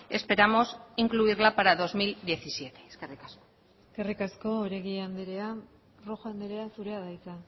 esperamos incluirla para dos mil diecisiete eskerrik asko eskerrik asko oregi andrea rojo andrea zurea da hitza